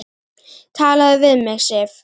TALAÐU VIÐ MIG, SIF!